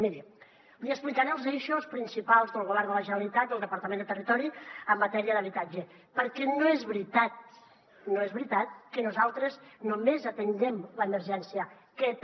miri li explicaré els eixos principals del govern de la generalitat del departament de territori en matèria d’habitatge perquè no és veritat no és veritat que nosaltres només atenguem l’emergència que també